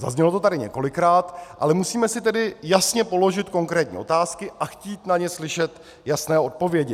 Zaznělo to tady několikrát, ale musíme si tedy jasně položit konkrétní otázky a chtít na ně slyšet jasné odpovědi.